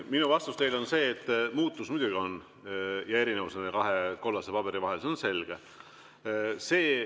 Minu vastus teile on see, et muutus muidugi on ja erinevus nende kahe kollase paberi vahel on, see on selge.